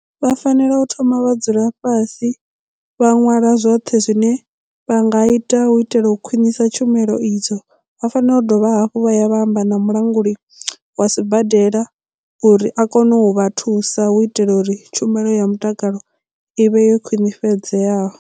Vha fanela u thoma vha dzula fhasi vha ṅwala zwoṱhe zwine vha nga ita u itela u khwiṋisa tshumelo idzo vha fanela u dovha hafhu vha ya vha amba na mulanguli wa sibadela uri a kone u vha thusa hu itela uri tshumelo ya mutakalo ivhe yo khwiṋifhadzeaho.